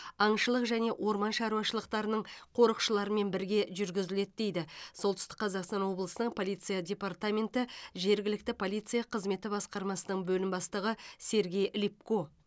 аңшылық және орман шаруашылықтарының қорықшыларымен бірге жүргізіледі дейді солтүстік қазақстан ооблысының полиция депертаменті жергілікті полиция қызметі басқармасының бөлім бастығы сергей липко